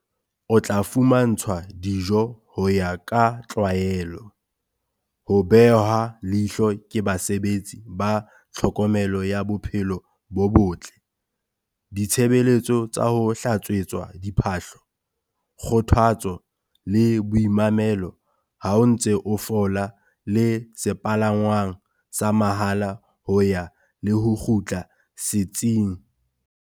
O tla fumantshwa dijo ho ya ka tlwaelo, ho behwa leihlo ke basebetsi ba tlhokomelo ya bophelo bo botle, ditshebeletso tsa ho hlatswetswa diphahlo, kgothatso le boimamelo ha o ntse o fola le sepalangwang sa mahala ho ya le ho kgutla setsing.